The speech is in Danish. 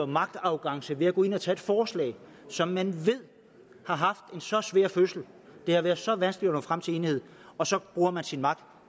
magtarrogance ved at gå ind at tage et forslag som man ved har haft en så svær fødsel det har været så vanskeligt at nå frem til enighed og så bruger man sin magt